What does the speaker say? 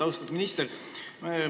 Austatud minister!